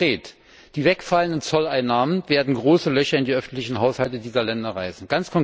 Seien wir konkret Die wegfallenden Zolleinnahmen werden große Löcher in die öffentlichen Haushalte dieser Länder reißen.